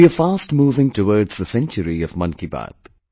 We are fast moving towards the century of 'Mann Ki Baat'